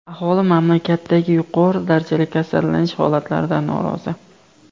Aholi mamlakatdagi yuqori darajali kasallanish holatlaridan norozi.